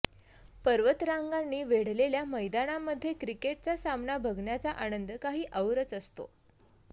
पर्वतरांगांनी वेढलेल्या मैदानामध्ये क्रिकेटचा सामना बघण्याचा आनंद काही औरच असतो